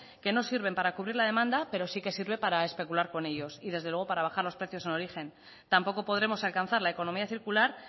que no sirven para cubrir la demanda pero sí que sirve para especular con ellos y desde luego para bajar los precios en origen tampoco podremos alcanzar la economía circular